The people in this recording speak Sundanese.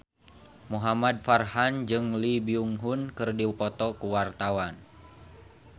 Muhamad Farhan jeung Lee Byung Hun keur dipoto ku wartawan